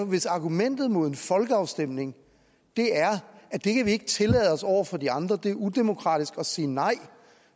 hvis argumentet mod en folkeafstemning er at det kan vi ikke tillade os over for de andre det er udemokratisk at sige nej